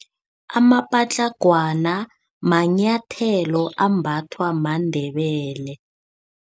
Amapatlagwana manyathelo ambathwa maNdebele.